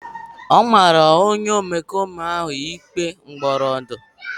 A mara onye omekome ahụ ikpe mkpọrọ ndụ.